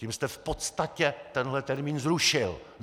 Tím jste v podstatě tenhle termín zrušil!